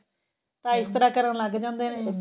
ਤਾਂ ਇਸ ਤਰ੍ਹਾਂ ਕਰਨ ਲੱਗ ਜਾਂਦੇ ਨੇ